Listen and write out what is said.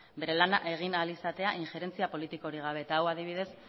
bere lana egin ahal izatea injerentzia politikorik gabe eta hau adibidez